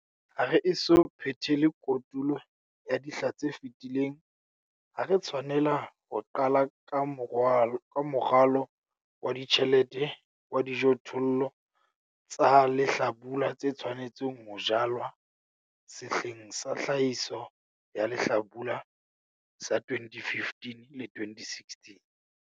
Ha re eso phethele kotulo ya dihla tse fetileng ha re tshwanela ho qala ka moralo wa ditjhelete wa dijothollo tsa lehlabula tse tshwanetseng ho jalwa sehleng sa tlhahiso ya lehlabula sa 2015 le 2016.